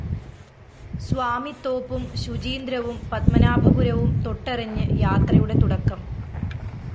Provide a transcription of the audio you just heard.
സ്വാമിത്തോപ്പും ശുചീന്ദ്രവും പത്മനാഭപുരവും തൊട്ടറിഞ്ഞ് യാത്രയുടെ തുടക്കം